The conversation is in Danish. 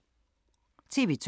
TV 2